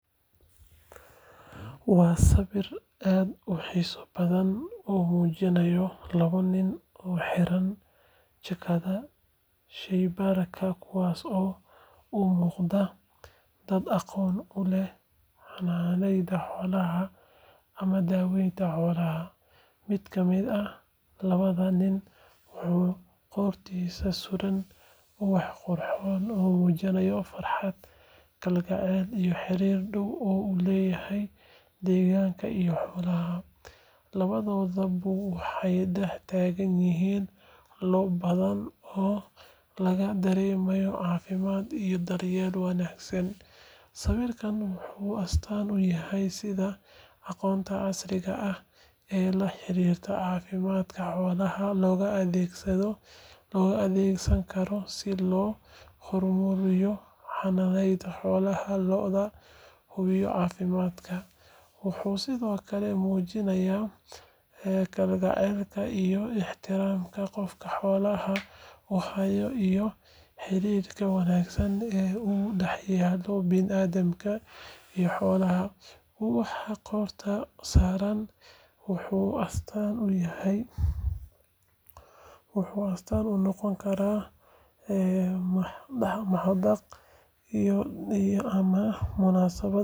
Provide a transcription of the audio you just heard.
Waa sabir aad uxiisa badan oo mujinaya laba nin oo xiran jakada cafimaadk, mid kamid ah labada nin waxaa qortiisa suran wax Quruxsan, waxaay dex taagan yihiin loo badan, sawirkan wuxuu astaan uyahay cafimaadka xoolaha, wuxuu mujinaaya galgaceel xolaha iyo xariirka udaxeeya, waxa qorta usaran wuxuu astaan unoqon karaa amah manasabad.